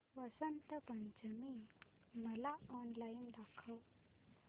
वसंत पंचमी मला ऑनलाइन दाखव